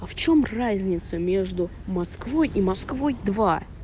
а в чем разница между москвой и москвой два